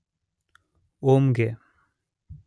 Onge